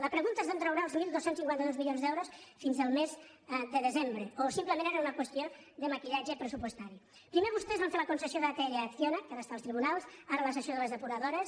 la pregunta és d’on traurà els dotze cinquanta dos milions d’euros fins al mes de desembre o simplement era una qüestió de maquillatge pressupostari primer vostès fan fer la concessió d’atll a acciona que ara està als tribunals ara la cessió de les depuradores